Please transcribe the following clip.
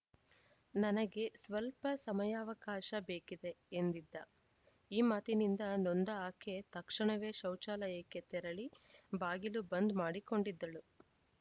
ನನಗೆ ಸ್ಪಲ್ಪ ಸಮಯಾವಕಾಶ ಬೇಕಿದೆ ಎಂದಿದ್ದ ಈ ಮಾತಿನಿಂದ ನೊಂದ ಆಕೆ ತಕ್ಷಣವೇ ಶೌಚಾಲಯಕ್ಕೆ ತೆರಳಿ ಬಾಗಿಲು ಬಂದ್‌ ಮಾಡಿಕೊಂಡಿದ್ದಳು